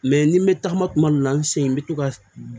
ni n bɛ tagama kuma dɔ la n se ye n bɛ to ka